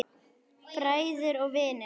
Bræður og vinir.